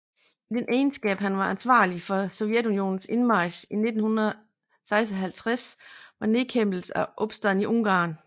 I den egenskab var han ansvarlig for Sovjetunionens indmarch i 1956 til nedkæmpelse af opstanden i Ungarn